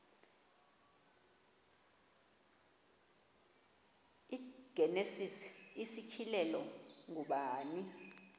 igenesis isityhilelo ngubani